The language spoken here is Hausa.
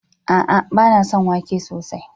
A'a, ba na son wake sosai.